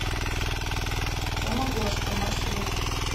самогошка маршрут